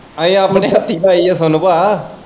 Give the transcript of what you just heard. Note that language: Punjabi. ਅਹੀ ਆਪਣੀ ਹੱਥੀ ਪਾਈ ਆ ਸੋਨੂੰ ਭਾ।